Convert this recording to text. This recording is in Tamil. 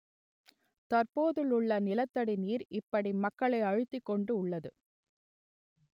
தற்போதுள்ள நிலத்தடி நீர் இப்படிமங்களை அழுத்திக் கொண்டு உள்ளது